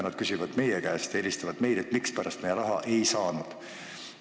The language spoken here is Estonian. Nad küsivad meie käest ja helistavad meile, mispärast nad raha ei saanud.